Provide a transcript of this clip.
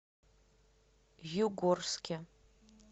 югорске